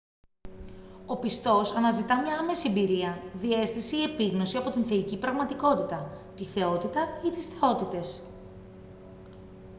ο πιστός αναζητά μια άμεση εμπειρία διαίσθηση ή επίγνωση από την θεϊκή πραγματικότητα / τη θεότητα ή τις θεότητες